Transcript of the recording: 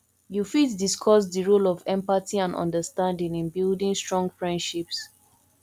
yu fit discuss di role of empathy and understanding in building strong freindships